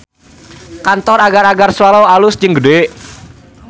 Kantor Agar-agar Swallow alus jeung gede